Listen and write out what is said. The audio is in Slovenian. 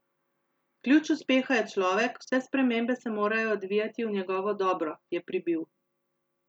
Ključ uspeha je človek, vse spremembe se morajo odvijati v njegovo dobro, je pribil.